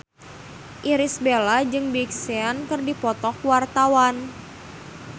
Irish Bella jeung Big Sean keur dipoto ku wartawan